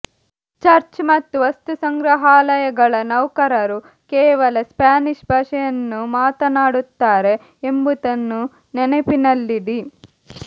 church ಮತ್ತು ವಸ್ತುಸಂಗ್ರಹಾಲಯಗಳ ನೌಕರರು ಕೇವಲ ಸ್ಪ್ಯಾನಿಶ್ ಭಾಷೆಯನ್ನು ಮಾತನಾಡುತ್ತಾರೆ ಎಂಬುದನ್ನು ನೆನಪಿನಲ್ಲಿಡಿ